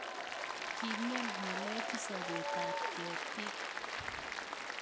King'em ng'alechu sobet ab ketiik